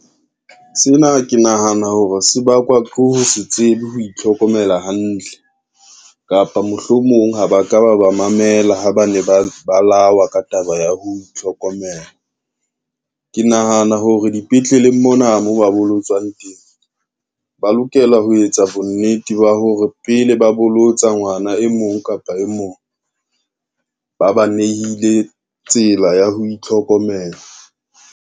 Sena ke nahana hore se bakwa ke ho se tsebe ho itlhokomela hantle, kapa mohlomong ha ba ka ba ba mamela ha ba ne ba ba lawa ka taba ya ho itlhokomela. Ke nahana hore dipetleleng mona, mo ba bolotswang teng ba lokela ho etsa bonnete ba hore pele ba bolotsa ngwana e mong kapa e mong ba ba nehile tsela ya ho itlhokomela.